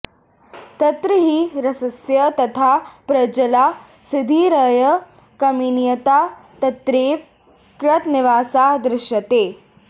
तत्र हि रसस्य तथा प्राञ्जला सिद्धिर्यया कमनीयता तत्रैव कृतनिवासा दृश्यते